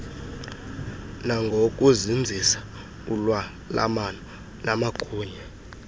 nangokuzinzisa ulwalamano namagunya